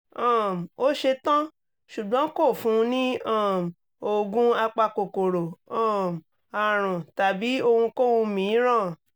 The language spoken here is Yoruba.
um ó ṣe tán ṣùgbọ́n kò fún un ní um oògùn apakòkòrò um àrùn tàbí ohunkóhun mìíràn